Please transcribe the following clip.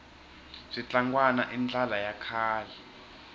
switlangwana i ndlala ya kahle